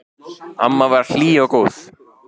Amma var hlý og góð.